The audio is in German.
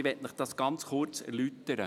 Ich möchte es Ihnen kurz erläutern: